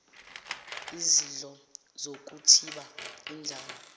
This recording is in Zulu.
izidlo zokuthiba indlala